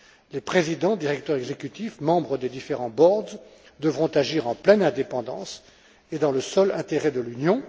Les présidents, directeurs exécutifs, membres des différents boards devront agir en pleine indépendance et dans le seul intérêt de l'Union.